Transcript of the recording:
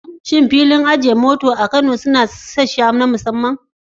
Shin filin ajiye motoci a Kano yana da wasu sassa na musamman?